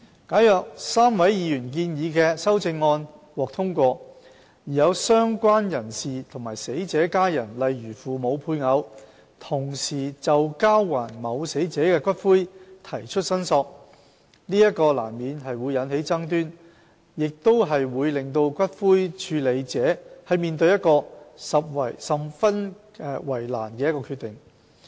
假如3位議員建議的修正案獲得通過，而有"相關人士"和死者的家人同時就交還某死者的骨灰提出申索，這難免會引起爭端，亦會使骨灰處理者面對一個十分為難的決定。